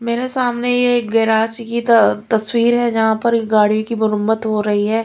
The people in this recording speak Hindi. मेरे सामने ये एक गेराज की त तस्वीर है जहां पर एक गाड़ी की मरम्मत हो रही है।